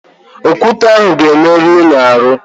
Okwute ahụ ga-emerụ unu ahụ.